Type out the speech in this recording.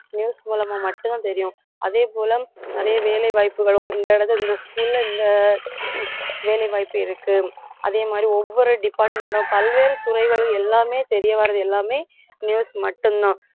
news மூலமா மட்டும்தான் தெரியும் அதே போல நிறைய வேலைவாய்ப்புகளும் இந்த இந்த school ல இந்த வேலைவாய்ப்பு இருக்கு அதே மாதிரி ஒவ்வொரு department டும் பல்வேறு துறைகளும் எல்லாமே தெரிய வர்றது எல்லாமே news மட்டும்தான்